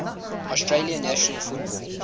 australian national football